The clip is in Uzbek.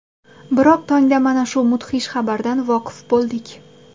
Biroq tongda mana shu mudhish xabardan voqif bo‘ldik.